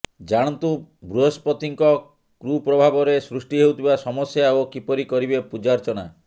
ଜାଣନ୍ତୁ ବୃହସ୍ପତିଙ୍କ କୁପ୍ରଭାବରେ ସୃଷ୍ଟି ହେଉଥିବା ସମସ୍ୟା ଓ କିପରି କରିବେ ପୂଜାର୍ଚ୍ଚନା